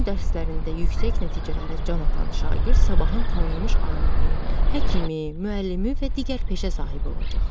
Bu gün dərslərində yüksək nəticələrə can atan şagird sabahın tanınmış alimi, həkimi, müəllimi və digər peşə sahibi olacaq.